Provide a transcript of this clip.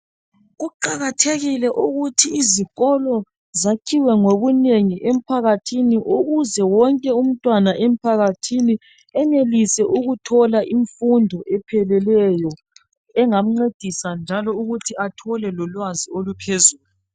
Kuqakathekile ukuthi izikolo zakhiwe ngobunengi emphakathini ukuze wonke umntwana emphakathini enelise ukuthola imfundo epheleleyo engamcedisa njalo ukuthi athole lolwazi oluphezulu.